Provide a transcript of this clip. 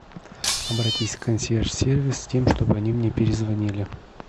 обратись в консьерж сервис с тем чтобы они мне перезвонили